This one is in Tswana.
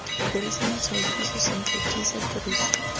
dirisa matshwaopuiso sentle tiisa tiriso